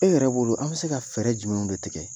E yɛrɛ bolo an mi se ka fɛɛrɛ jumɛnw de tigɛ ?